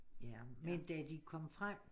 Ja men da de kom frem